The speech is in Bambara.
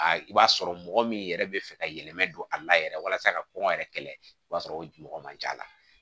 A i b'a sɔrɔ mɔgɔ min yɛrɛ bɛ fɛ ka yɛlɛma don a la yɛrɛ walasa ka kɔngɔ yɛrɛ kɛlɛ o b'a sɔrɔ o mɔgɔ man ca